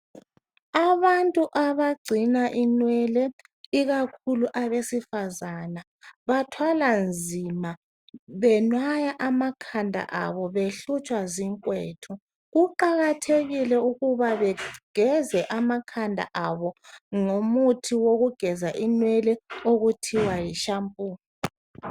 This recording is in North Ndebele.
Abantu abagcina inwele ikakhulu abesifazana bathwala nzima benwaya amakhanda abo behlutshwa zikwethu kuqakathekile ukuba bageze amakhanda abo ngumuthi okuthiwa yi shampu.